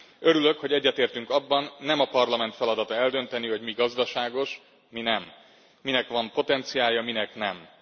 Örülök, hogy egyetértünk abban, nem a Parlament feladata eldönteni, hogy mi gazdaságos, mi nem, minek van potenciálja, minek nincs.